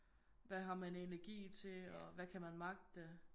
Hvad har man energi til og hvad kan man magte?